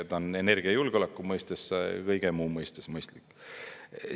Ta on energiajulgeoleku mõistes ja kõige muu mõttes mõistlik.